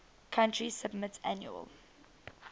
country submit annual